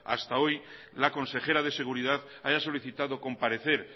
hasta hoy la consejera de seguridad haya solicitado comparecer